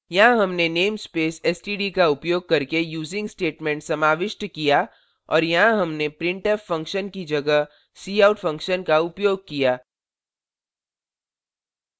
यहाँ हमने namespace std का उपयोग करके using statement समाविष्ट किया और यहाँ हमने printf function की जगह cout function का उपयोग किया